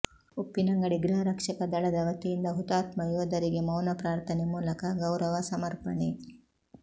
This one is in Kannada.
ಉಪ್ಪಿನಂಗಡಿ ಗೃಹರಕ್ಷಕದಳದ ವತಿಯಿಂದ ಹುತಾತ್ಮ ಯೋಧರಿಗೆ ಮೌನ ಪ್ರಾರ್ಥನೆ ಮೂಲಕ ಗೌರವ ಸಮರ್ಪಣೆ